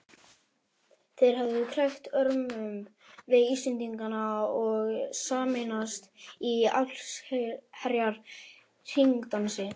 Þeir hefðu krækt örmum við Íslendingana og sameinast í allsherjar hringdansi.